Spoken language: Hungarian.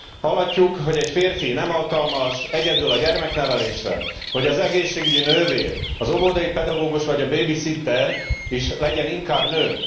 Hallhatjuk, hogy egy férfi nem alkalmas egyedül a gyermeknevelésre, hogy az egészségügyi nővér, az óvodai pedagógus vagy a bébiszitter is legyen inkább nő.